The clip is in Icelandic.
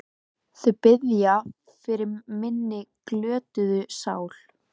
Hún birtist helst í sljóleika þeirra sem hugsuðu fátt.